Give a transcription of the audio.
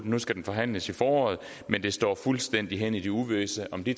nu skal den forhandles i foråret men det står fuldstændig hen i det uvisse om de